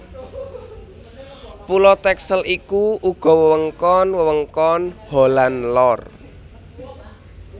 Pulo Texel iku uga wewengkon wewengkon Holland Lor